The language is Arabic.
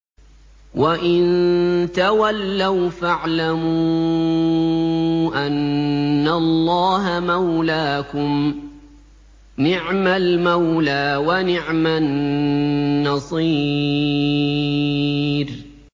وَإِن تَوَلَّوْا فَاعْلَمُوا أَنَّ اللَّهَ مَوْلَاكُمْ ۚ نِعْمَ الْمَوْلَىٰ وَنِعْمَ النَّصِيرُ